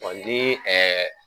ni .